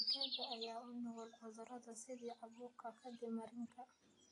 Digaagga ayaa u nugul cudurrada sida caabuqa kaadi mareenka.